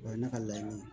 O ye ne ka laɲini